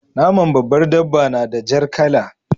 Naman babbar dabba na da jar kala.